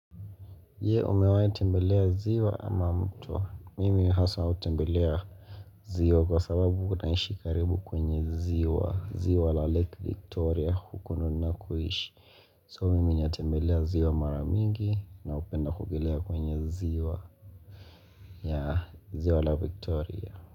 Ye umewae tembelea ziwa ama mto mimi haswa utembelea ziwa kwa sababu naishi karibu kwenye ziwa ziwa la lake victoria hukununa kuishi so mimi nyatembelea ziwa maramingi na hupenda kuogelea kwenye ziwa yaa ziwa la victoria.